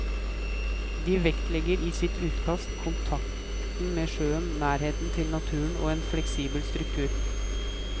De vektlegger i sitt utkast kontakten med sjøen, nærhet til natur og en fleksibel struktur.